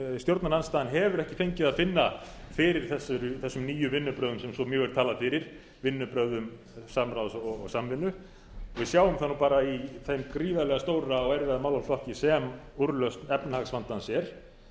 stjórnarandstaðan hefur ekki fengið að finna fyrir þessum nýju vinnubrögðum sem svo mjög er talað fyrir vinnubrögðum samráðs og samvinnu við sjáum það bara í þeim gríðarlega stóra og erfiða málaflokki sem úrlausn efnahagsvandans er